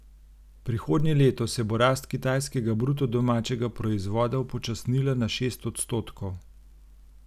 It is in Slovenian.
Prihodnje leto se bo rast kitajskega bruto domačega proizvoda upočasnila na šest odstotkov.